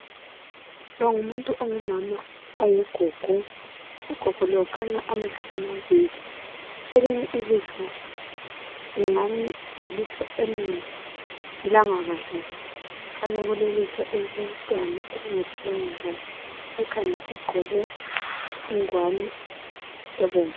Lo ngumuntu ongumama, ongugogo. Ugogo lo ukhanya amehlo amabili, elinye ilihlo ingani lilihlo elingaphilanga kahle. Kukhanya kulelihlo elilomntwana elingaphilanga kahle. Ekhanda ugqoke ingwane ebomvu.